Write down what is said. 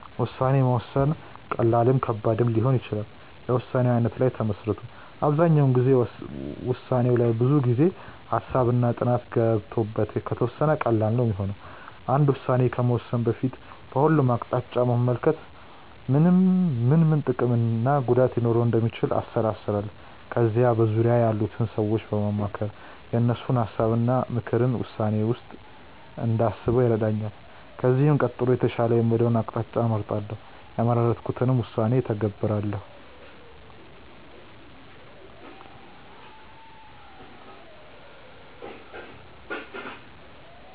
ውሳኔ መወሰን ቀላልም ከባድም ሊሆን ይችላል የውሳኔው አይነት ላይ ተመስርቶ። አብዛኛው ጊዜ ውሳኔው ላይ ብዙ ጊዜ፣ ሃሳብ እና ጥናት ገብቶበት ከተወሰነ ቀላል ነው ሚሆነው። አንድ ውስን ከመወሰኔ በፊት በሁሉም አቅጣጫ በመመልከት ምን ምን ጥቅም እና ጉዳት ሊኖረው እንደሚችል አሰላስላለው። ከዛ በዙርያዬ ያሉትን ሰዎች በማማከር የእነሱን ሀሳብ እና ምክርን ውሳኔዬ ውስጥ እንዳስበው ይረዳኛል። ከዚህም ቀጥሎ የተሻለ የምለውን አቅጣጫ እመርጣለው። የመረጥኩትንም ውሳኔ እተገብራለው።